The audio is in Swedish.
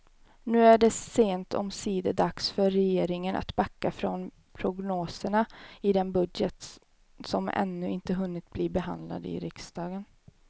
Nu är det sent omsider dags för regeringen att backa från prognoserna i den budget som ännu inte hunnit bli behandlad i riksdagen.